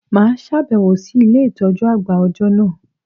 Mà á sàbẹ̀wò sí Ilé ìtójú àgbà òjọ́ nà